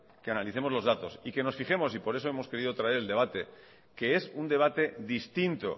que analicemos los datos y que nos fijemos y por eso hemos querido traer el debate que es un debate distinto